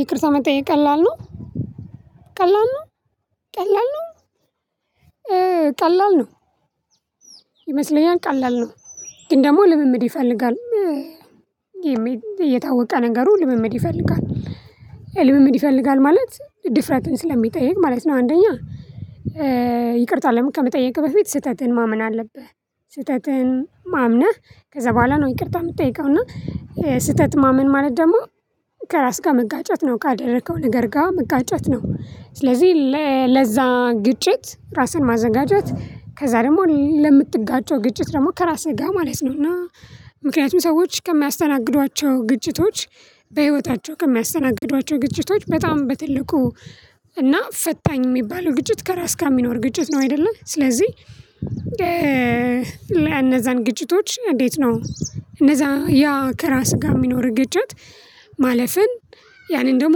ይቅርታ መጠየቅ ቀላል ነው። ቀላል ነው። ቀላል ነው። ቀላል ነው ይመስለኛል ቀላል ነው። ግን ደግሞ ልምምድ ይፈልጋል። የታወቀ ነገሩ ልምምድ ይፈልጋል። ልምምድ ይፈልጋል ማለት ድፍረትን ስለሚጠይቅ ማለት ነው። አንደኛ ይቅርታ ከመጠየቅህ በፊት ስተትህን ማመን አለብህ። ስተትህን አምነህ ከዛ በኋላ ነው ይቅርታ የምትጠይቀው እና። ስህተት ማመን ማለት ደግሞ ከራስ ጋር መጋጨት ነው ካደረከው ነገር ጋር መጋጨት ነው። ስለዚህ ለዛ ግጭት ራስን ማዘጋጀት ከዛ ደግሞ ለምትጋጨው ግጭት ደግሞ ከራስህ ጋር ማለት ነው። እና ምክንያቱም ሰዎች ከሚያስተናግዷቸው ግጭቶች በህይወታቸው ከሚያስተናግዷቸው ግጭቶች በጣም በትልቁ እና ፈታኝ የሚባለው ግጭት ከራስ ጋር የሚኖር ግጭት ነው። አይደለ ስለዚህ እነዛን ግጭቶች እንዴት ነው? እነዛ ያ ከራስ ጋር የሚኖር ግጭት ማለፍን ያንን ደግሞ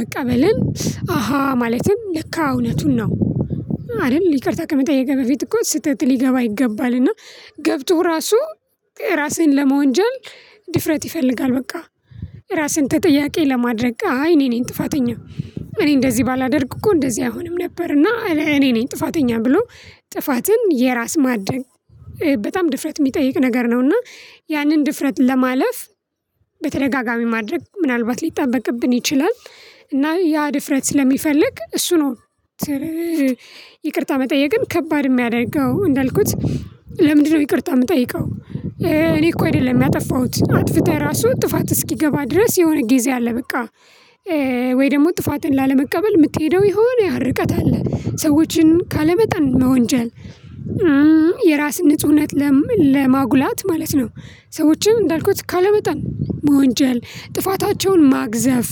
መቀበልን አሃ ማለትም ለካ እውነቱን ነው። አይደል ይቅርታ ከመጠየቅህ በፊት እኮ ስተትህ ሊገባ ይገባል። እና ገብቶ ራሱ እራስህን ለመወንጀል ድፍረት ይፈልጋል። በቃ ራስህን ተጠያቂ ለማድረግ አይ እኔ ነኝ ጥፋተኛው። እኔ እንደዚህ ባላደርግ እኮ እንደዚህ አይሆንም ነበርና እኔ ነኝ ጥፋተኛ ብሎ ጥፋትን የራስ ማድረግ። በጣም ድፍረት የሚጠይቅ ነገር እና ያንን ድፍረት ለማለፍ በተደጋጋሚ ማድረግ ምናልባት ሊጠበቅብን ይችላል። እና ያ ድፍረት ስለሚፈልግ እሱ ነው። ይቅርታ መጠየቅን ከባድ የሚያደርገው እንዳልኩት። ለምንድነው ይቅርታ የምጠይቀው? እኔ እኮ አይደለም ያጠፋሁት አጥፍጥህ ራሱ ጥፋት እስኪገባ ድረስ የሆነ ጊዜ አለ። በቃ ወይ ደግሞ ጥፋትን ላለመቀበል የምትሄደው ይሆን ያ ርቀት አለ። ሰዎችን ካለመጠን መወንጀል የራስን ንጹህነት ለማጉላት ማለት ነው። ሰዎችን እንዳልኩት ካለመጠን መወንጀል ጥፋታቸውን ማግዘፍ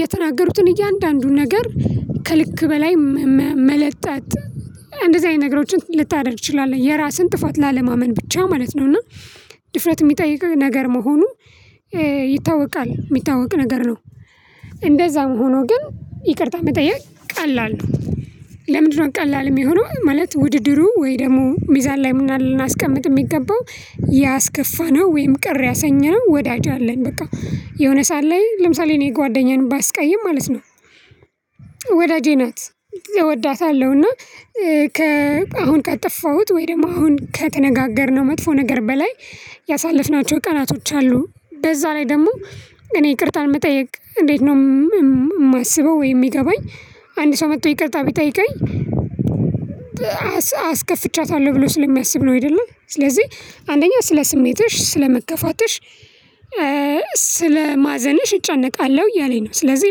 የተናገሩትን እያንዳንዱን ነገር ከልክ በላይ መለጠጥ እንደዚህ አይነት ነገሮችን ልታደርግ ትችላለህ። የራስህን ጥፋት ላለማመን ብቻ ማለት ነው። እና ድፍረት የሚጠይቅ ነገር መሆኑን ይታወቃል የሚታወቅ ነገር ነው። እንደዛም ሆኖ ግን ይቅርታ መጠየቅ ቀላል ነው። ለምንድነው ቀላል የሚሆነው? ማለት ውድድሩ ወይ ደግሞ ሚዛን ላይ ልናስቀምጥ የሚገባው ያስከፋነው ወይም ቅር ያሰኘነው ወዳጅ አለን በቃ የሆነ ሰዓት ላይ ለምሳሌ እኔ ጓደኛዬን ባስቀይም ማለት ነው። ወዳጄ ናት። እወዳታለሁ እና ከ አሁን ካጠፋሁት ወይ ደግሞ አሁን ከተነጋገርነው መጥፎ ነገር በላይ ያሳለፍናቸው ቀናቶች አሉ። በዛ ላይ ደግሞ እኔ ይቅርታ ለመጠየቅ እንዴት ነው? የማስበው ወይ የሚገባኝ አንድ ሰው መጥቶ ይቅርታ ቢጠይቀኝ። አስከፍቻታለሁ ብሎ ስለሚያስብ ነው አይደለም ስለዚህ አንደኛ ስለ ስሜትሽ ስለመከፋትሽ ስለማዘንሽ እጨነቃለሁ እያለኝ ነው። ስለዚህ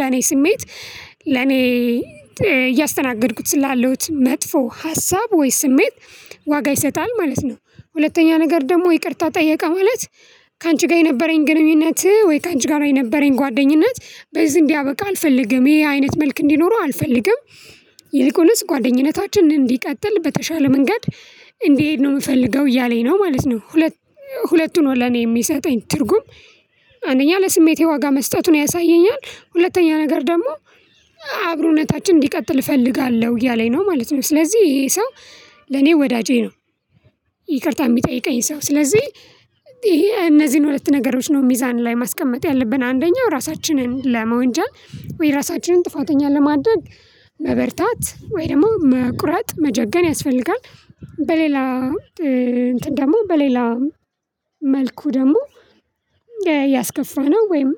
ለኔ ስሜት ለኔ እያስተናገድኩት ስላሉት መጥፎ ሀሳብ ወይ ስሜት ዋጋ ይሰጣል ማለት ነው። ሁለተኛ ነገር ደግሞ ይቅርታ ጠየቀ ማለት ካንቺ ጋር የነበረኝ ግንኙነት ወይ ካንቺ ጋር የነበረኝ ጓደኝነት በዚህ እንዲያበቃ አልፈልግም ይሄ አይነት መልክ እንዲኖረው አልፈልግም። ይልቁንስ ጓደኝነታችን እንዲቀጥል በተሻለ መንገድ እንዲሄድ ነው የምፈልገው እያለኝ ነው ማለት ነው። ሁለቱ ነው ለኔ የሚሰጠኝ ትርጉም አንደኛ ለስሜቴ ዋጋ መስጠቱን ያሳየኛል። ሁለተኛ ነገር ደግሞ አብሮነታችን እንዲቀጥል እፈልጋለሁ እያለኝ ነው ማለት ነው። ስለዚህ ይሄ ሰው ለኔ ወዳጄ ነው። ይቅርታ የሚጠይቀኝ ሰው ስለዚህ እነዚህን ሁለት ነገሮች ነው ሚዛን ላይ ማስቀመጥ ያለብን አንደኛው ራሳችንን ለመወንጃል ወይ ራሳችንን ጥፋተኛ ለማድረግ መበርታት ወይ ደግሞ መቁረጥ መጀገን ያስፈልጋል። በሌላ እንትን ደግሞ በሌላ መልኩ ደግሞ ያስከፋነው ወይም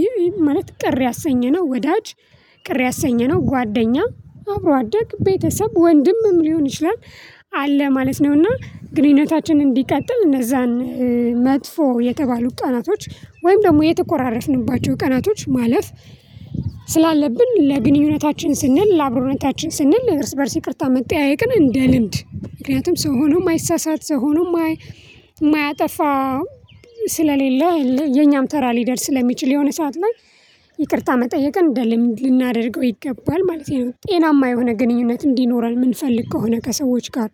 ይሄ ማለት ቅር ያሰኘነው ወዳጅ ቅር ያሰኘነው ጓደኛ አብሮ አደግ ቤተሰብ ወንድምም ሊሆን ይችላል። አለ ማለት ነው። እና ግንኙነታችን እንዲቀጥል እነዛን መጥፎ የተባሉ ቀናቶች ወይም ደግሞ የተኮራረፍንባቸው ቀናቶች ማለፍ ስላለብን ለግንኙነታችን ስንል ለአብሮነታችን ስንል እርስ በእርስ ይቅርታ መጠያየቅን እንደ ልምድ ምክንያቱም ሰው ሆኖ የማይሳሳት ሰው ሆኖ የማያጠፋ ስለሌለ የኛም ተራ ሊደርስ ለሚችል የሆነ ሰዓት ላይ ይቅርታ መጠየቅ እንደ ልምድ ልናደርገው ይገባል። ማለቴ ነው ጤናማ የሆነ ግንኙነት እንዲኖረን የምንፈልግ ከሆነ ከሰዎች ጋር።